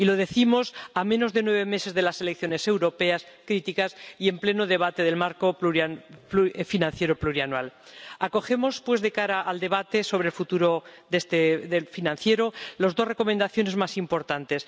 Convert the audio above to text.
Y lo decimos a menos de nueve meses de las elecciones europeas, críticas, y en pleno debate del marco financiero plurianual. Acogemos, de cara al debate sobre el futuro financiero, las dos recomendaciones más importantes.